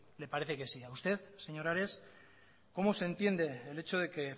le parece que sí a usted señor ares cómo se entiende el hecho de que